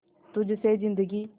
तुझ से जिंदगी